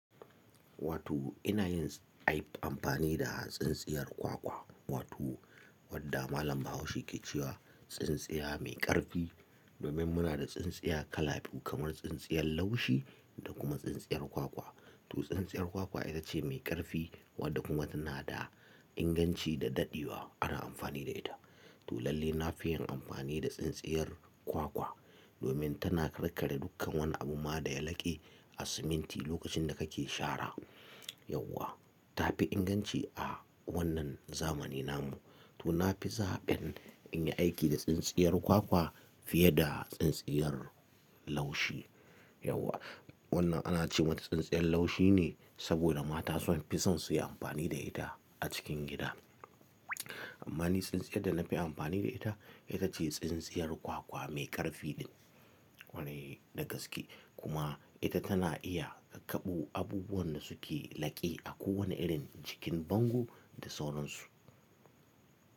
Wato ina yin aib amfani da tsintsiyar kwakwa, wato wadda malam Bahaushe ke cewa tsintsiya mai ƙarfi. Domin muna da tsintsiya kala biyu kamar tsintsiyar laushi da kuma tsintsiyar kwakwa. To tsintsiyar kwakwa ita ce mai ƙarfi wadda kuma tana da inganci da daɗewa ana amfani da ita. To lalle na fi yin amfani da tsintsiyar kwakwa domin tana karkare dukkan wani abu ma da ya laƙe a siminti lokacin da kake shara. Yauwa ta fi inganci a wannan zamanin nan mu. To na fi zaɓin in yi aiki da tsintsiyar kwakwa fiye da tsintsiyar laushi. Yauwa wannan ana ce mata tsintsiyar laushi ne saboda mata sun fi son su yi amfani da ita a cikin gida. Amma ni tsintsiyar da na fi amfani da ita, ita ce tsintsiyar kwakwa mai ƙarfi ɗin. Kwarai da gaske kuma ita tana iya karkaɓo abubuwan da suke laƙe a kowane irin jikin bango da sauran su.